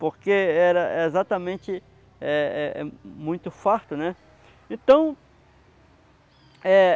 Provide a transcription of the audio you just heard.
Porque era exatamente eh eh eh muito farto, né?